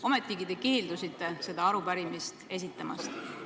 Ometi te keeldusite seda arupärimist edastamast.